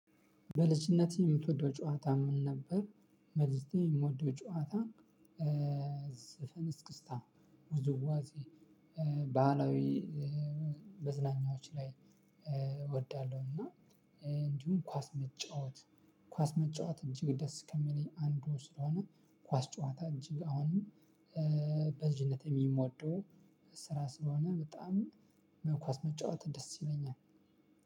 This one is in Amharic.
በልጅነት የምትወደው ጨዋታ ምን ነበር? በልጅነቴ የምወደው ጨዋታ ዘፈን እስክስታ ውዝዋዜ ባህላዊ መዝናኛዎች ላይ እወዳለሁ። እና እንዲሁም ኳስ መጫወት ኳስ መጫወት እጂግ ደስ ከምለኝ አንዱ ስለሆነ። ኳስ ጨዋታ እንጂ አሁንም። በልጅነት ሚወደዎ ስራ ስለሆነ በጣም መኳስ መጫወት ደስ ይለኛል።